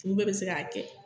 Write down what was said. Olu bɛɛ bɛ se k'a kɛ